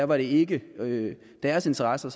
var det ikke deres interesser